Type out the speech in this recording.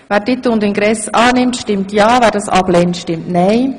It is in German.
Wer Titel und Ingress annimmt, stimmt ja, wer das ablehnt, stimmt nein.